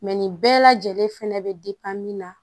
nin bɛɛ lajɛlen fɛnɛ bɛ min na